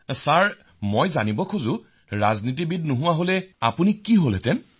শ্ৰী হৰি জি বিঃ মই আপোনাৰ পৰা জানিব বিচাৰিছো যে যদি আপুনি ৰাজনীতিবিদ নহলহেঁতেন তেন্তে কি হবলৈ বিচাৰিলেহৈ